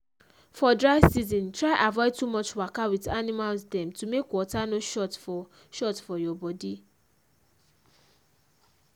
for dry season try avoid too much waka wit animals dem to make water no short for short for your body